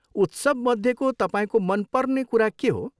उत्सवमध्येको तपाईँको मनपर्ने कुरा के हो?